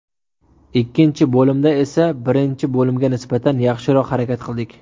Ikkinchi bo‘limda esa birinchi bo‘limga nisbatan yaxshiroq harakat qildik.